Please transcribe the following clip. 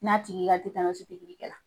N'a tigi ka tetanɔsi pikiri kɛ la.